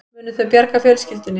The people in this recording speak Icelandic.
Munu þau bjarga fjölskyldunni